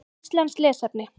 Íslenskt lesefni: